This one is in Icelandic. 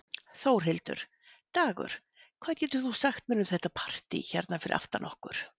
Þórhildur: Dagur, hvað getur þú sagt mér um þetta partý hérna fyrir aftan okkur?